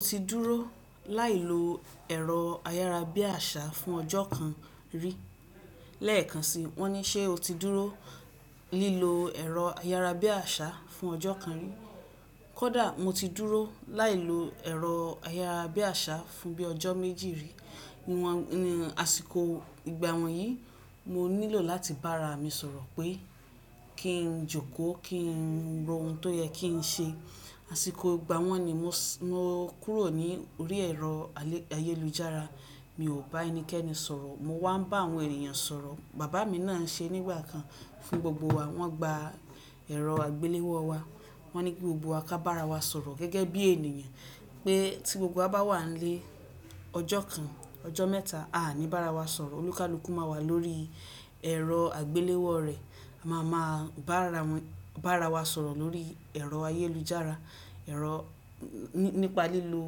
Mo ti dúró láì lo ẹ̀rọ ayára bí àṣá fún ọjọ́ kan rí. Lẹ́ẹ̀kan si, wọ́n ní ṣé o ti dúró lílo ẹ̀rọ ayára bí àṣá fún ọjọ́ kan rí? Kódà, mo ti dúró láì lo ẹ̀rọ ayára bí àṣá fún bí ọjọ́ méjì rí. Ni wọ́n, ni àsìkò ìgbà wọ́n yìí, mo nílò láti bá ara mi sọ̀rọ̀ pé kí n jókòó, kí n ro ohun tó yẹ kí n ṣe. Àsìkò ìgbà wọ́n ni mo, mo kúrò ní orí ẹ̀rọ ayélujára. Mi ò bá ẹnikẹ́ni sọ̀rọ̀. Mo wá ń bá àwọn ènìyàn sọ̀rọ̀. Bàbá mi náà ń ṣe nígbà kan fún gbogbo wa. Wọ́n gba ẹ̀rọ àgbéléwọ́ o wa. Wọ́n ní ki gbogbo wa ká bá ara wa sọ̀rọ̀ gẹ́gẹ́ bí ènìyàn, pé tí gbogbo wa bá wà n lé ọjọ́ kan, ọjọ́ mẹ́ta, a aní bá ara wa sọ̀rọ̀. Olúkalúkú máa wà lórí ẹ̀rọ àgbéléwọ́ rẹ̀. A máa máa bá ara wọ́n, bá ara wa sọ̀rọ̀ lórí ẹ̀rọ ayélujára. Ẹ̀rọ nípa lílo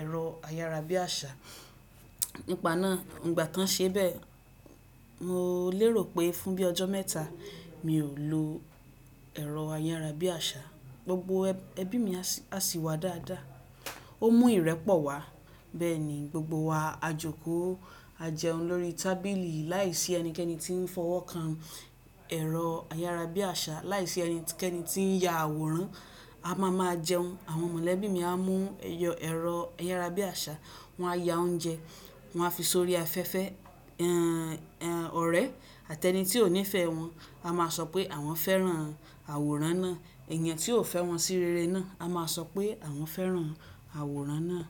ẹ̀rọ ayárabíàṣá. Nípa náà, nígbà ti won ṣe bẹ́ẹ̀, mo lérò pé fún bí ọjọ́ mẹ́ta mi ò lo ẹ̀rọ ayára bí àṣá, gbogbo ẹbí mi a sì wá dáadáa. Ó mú ìrẹ́pọ̀ wá. Bẹ́ẹ̀ ni, gbogbo wa á jókòó, á jẹun lórí tábìlì láìsí ẹnikẹ́ni tí ń fọwọ́ kan ẹ̀rọ ayára bí àṣá, láìsí ẹnikẹ́ni tí ń ya àwòrán. A máa ma jẹun. Àwọn mọ̀lẹ́bí mi a mú ẹyọ ẹ̀rọ ayára bí àṣá, wọ́n á ya oúnjẹ, wọ́n á fi sórí afẹ́fẹ́, ọ̀rẹ́ àti ẹni tí ò nífẹ̀ẹ́ wọn, a máa sọ pé àwọn fẹ́ran àwòrán náà. Ẹ̀yán tí ò fẹ́ wọn sí rere náà, a máa sọ pé àwọn fẹ́ran àwòrán náà.